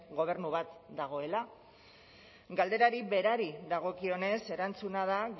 gobernu bat dagoela galderari berari dagokionez erantzuna da